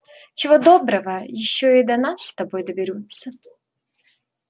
чего доброго ещё и до нас с тобой доберутся